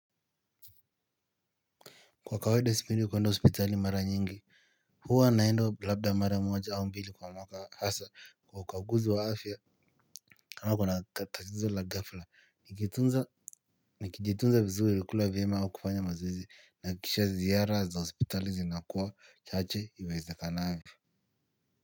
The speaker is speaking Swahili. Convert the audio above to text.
Kwa kawaida sipendi kuenda hospitali mara nyingi huwa naenda labda mara moja au mbili kwa mwaka hasa kwa ukaguzi wa afya kama kuna tatizo la ghafla nikitunza nikijitunza vizuri kula vyema au kufanya mazoezi nahakikisha ziara za hospitali zinakuwa chache ywa iwezekanavyo.